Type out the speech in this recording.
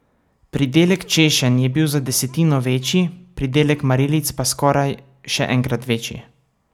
Pridelek češenj je bil za desetino večji, pridelek marelic pa skoraj še enkrat večji.